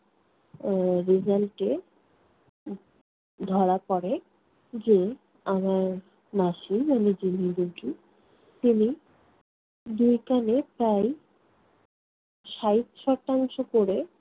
আহ result এ ধরা পড়ে যে আমার মাসী রোগী তিনি দুই কানে প্রায় ষাট শতাংশ করে